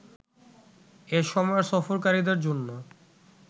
এসময়ে সফরকারীদের জন্য